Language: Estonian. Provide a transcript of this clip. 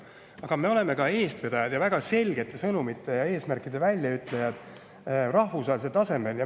Aga me oleme ka eestvedajad ning väga selgete sõnumite ja eesmärkide väljaütlejad rahvusvahelisel tasemel.